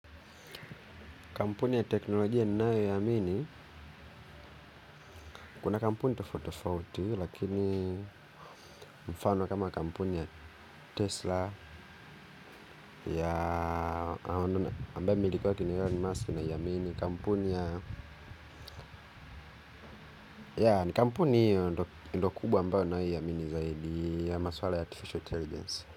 Kampuni ya teknolojia ninayoiamini, kuna kampuni tofauti tofauti, lakini mfano kama kampuni ya Tesla, ya ambayo mmimiliki wake ni Elon Musk ninaiamini, kampuni ya, ya, ni kampuni hiyo ndiyo kubwa ambayo ninayoiamini zaidi ya maswala ya Artificial Intelligence.